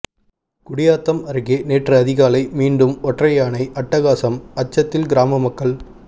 குடியாத்தம் அருகே நேற்று அதிகாலை மீண்டும் ஒற்றையானை அட்டகாசம் அச்சத்தில் கிராம மக்கள்